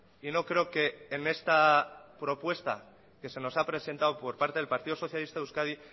y no creo que en esta propuesta que se nos ha presentado por parte del partido socialista de euskadi